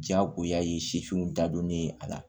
Jagoya ye sifinw da donnen a la